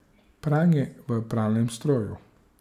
Pranje v pralnem stroju.